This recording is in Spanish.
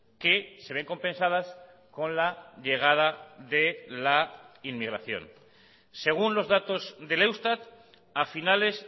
que se ven compensadas con la llegada de la inmigración según los datos del eustat a finales